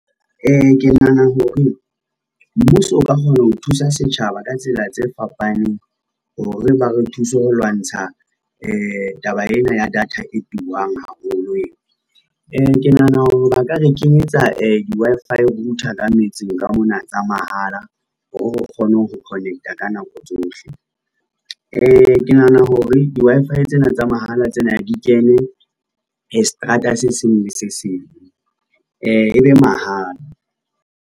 Ke nahana hore, mmuso o ka kgona ho thusa setjhaba ka tsela tse fapaneng hore ba re thuse ho lwantsha taba ena ya data e turang haholo ena. Ke nahana hore ba ka re kenyetsa di-Wi-Fi router ka metseng mona tsa mahala, o kgone ho connect-a ka nako tsohle, ke nahana hore di-Wi-Fi tsena tsa mahala tsena di kene seterata se seng le se seng, e be mahala.